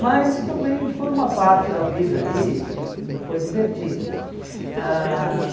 Mas também foi uma parte da vida ali e e e foi divertido. Ãh